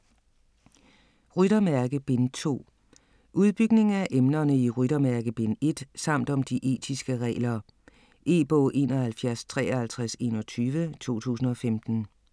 Ryttermærke: Bind 2 Udbygning af emnerne i Ryttermærke bind 1 samt om de etiske regler. E-bog 715321 2015.